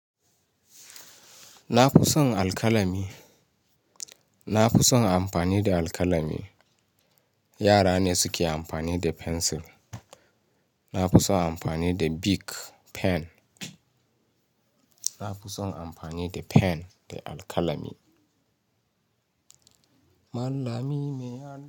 Na fi son alkalami. Na fi son amfani da alkalami. Yara ne suke amfani da fensil. Na fi son amfani da bik, pen. Na fi son amfani da pen da alkalami. Mallami mai yaɗa.